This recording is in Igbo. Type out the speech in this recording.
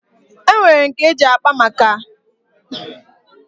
E nwere nke e ji akpa nkata amakwụazị nke na-eme n'obodo a na-akpọ wasap.